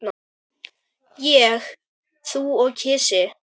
Ég, þú og kisi.